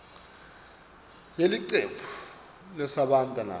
yelicembu losebenta nalo